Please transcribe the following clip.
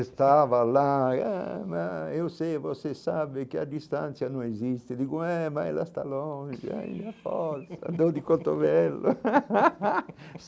Estava lá, ah eu sei, você sabe que à distância não existe, digo, é, mas ela está longe, olha a fossa, dor de cotovelo.